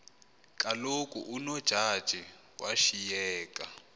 kaloku unojaji washiyeka